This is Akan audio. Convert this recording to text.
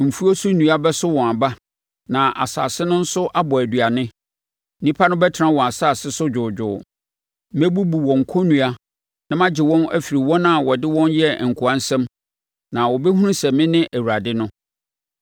Mfuo so nnua bɛso wɔn aba na asase no nso abɔ nʼaduane. Nnipa no bɛtena wɔn asase so dwoodwoo. Mɛbubu wɔn kɔnnua na magye wɔn afiri wɔn a wɔde wɔn yɛɛ nkoa nsam na wɔbɛhunu sɛ mene Awurade no.